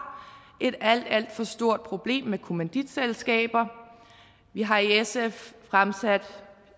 et alt alt for stort problem med kommanditselskaber vi har i sf fremsat